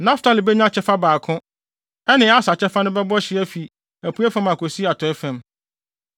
Naftali benya kyɛfa baako; ɛne Aser kyɛfa no bɛbɔ hye afi apuei fam akosi atɔe fam.